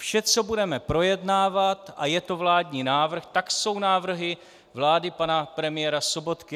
Vše, co budeme projednávat a je to vládní návrh, tak jsou návrhy vlády pana premiéra Sobotky.